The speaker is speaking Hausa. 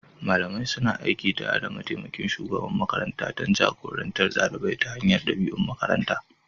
Malamai suna aiki tare da mataimakin shugaban makaranta don jagorantar ɗalibai ta hanyar ɗabi'u a makarantar.